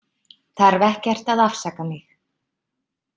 Þarf ekkert að afsaka mig.